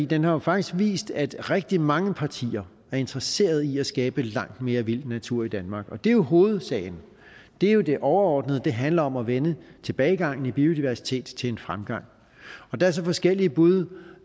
den har jo faktisk vist at rigtig mange partier er interesseret i at skabe langt mere vild natur i danmark og det er jo hovedsagen det er jo det overordnede det handler om at vende tilbagegangen i biodiversitet til en fremgang og der er så forskellige bud